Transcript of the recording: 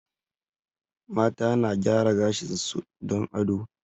Mata na gaya gashin su don ado